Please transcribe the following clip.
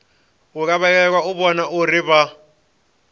lavhelelwa u vhona uri vha